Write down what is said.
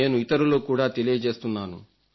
నేను ఇతరులకు కూడా తెలియజేస్తున్నాను